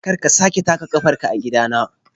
Kar ka sake taka kafarka a gidana!